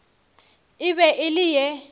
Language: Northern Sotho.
e be e le ye